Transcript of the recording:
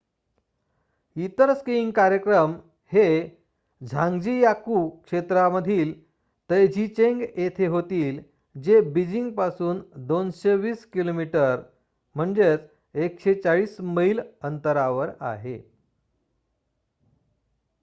इतर स्कीईंग कार्यक्रम हे झान्ग्जीयाकु क्षेत्रामधील तैझीचेंग येथे होतील जे बीजिंग पासून 220 किमी 140 मैल अंतरावर आहे